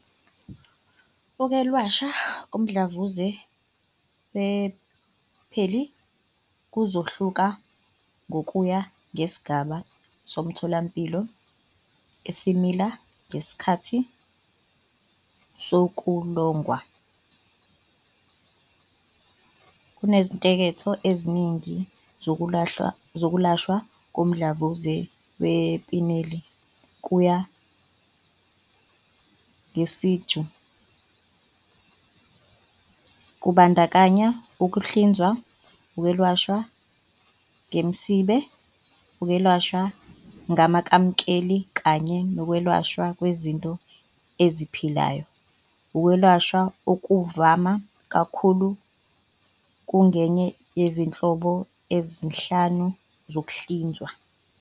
Ukwelashwa komdlavuza we-penile kuzohluka ngokuya ngesigaba somtholampilo sesimila ngesikhathi sokuxilongwa. Kunezinketho eziningi zokwelashwa komdlavuza we-penile, kuya ngesiteji. Kubandakanya ukuhlinzwa, ukwelashwa ngemisebe, ukwelashwa ngamakhemikhali kanye nokwelashwa kwezinto eziphilayo. Ukwelashwa okuvame kakhulu kungenye yezinhlobo ezinhlanu zokuhlinzwa-